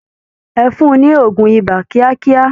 Ẹ fún-un ní òògùn ibà kíákíá!